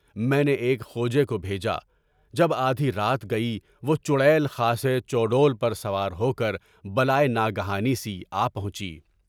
میں نے ایک کھوجے کو بھیجا، جب آدھی رات گئی وہ چڑیل خاصے چوڑول پر سوار ہو کر بلائے ناگہانی سی آ پہنچی۔